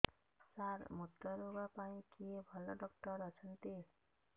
ସାର ମୁତ୍ରରୋଗ ପାଇଁ କିଏ ଭଲ ଡକ୍ଟର ଅଛନ୍ତି